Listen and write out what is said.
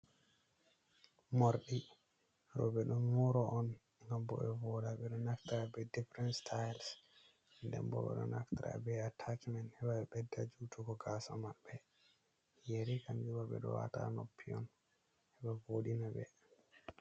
Morɗi, rowɓe ɗo mooro on, gam bo ɓe vooɗa. Ɓe ɗo naftira bee difiren sitails, den bo ɓe ɗo naftira bee ataacimen heɓa ɓe ɓedda juutugo gaasa maɓɓe. Yeri kamju ma ɓe ɗo waata ha noppi on heɓa voɗina ɓe.